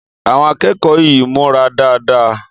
Àwon akékòó yìí múra dáadáa